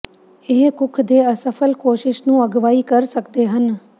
ਇਹ ਕੁੱਖ ਦੇ ਅਸਫਲ ਕੋਸ਼ਿਸ਼ ਨੂੰ ਅਗਵਾਈ ਕਰ ਸਕਦੇ ਹਨ